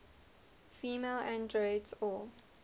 female androids or